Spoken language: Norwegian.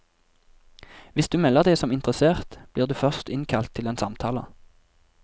Hvis du melder deg som interessert, blir du først innkalt til en samtale.